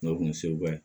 N'o kun ye seguka ye